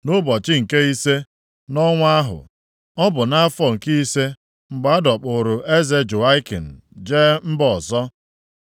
Nʼụbọchị nke ise nʼọnwa ahụ, ọ bụ nʼafọ nke ise mgbe a dọkpụụrụ eze Jehoiakin jee mba ọzọ,